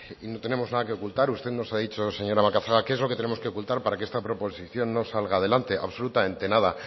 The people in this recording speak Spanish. y no tenemos nada que ocultar usted nos ha dicho señora macazaga qué es lo que tenemos que ocultar para que esta proposición no salga adelante absolutamente nada